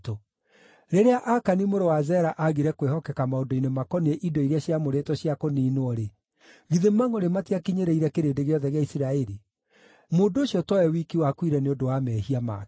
Rĩrĩa Akani mũrũ wa Zera aagire kwĩhokeka maũndũ-inĩ makoniĩ indo iria ciamũrĩtwo cia kũniinwo-rĩ, githĩ mangʼũrĩ matiakinyĩrĩire kĩrĩndĩ gĩothe gĩa Isiraeli? Mũndũ ũcio to we wiki wakuire nĩ ũndũ wa mehia make.’ ”